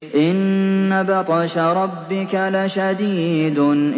إِنَّ بَطْشَ رَبِّكَ لَشَدِيدٌ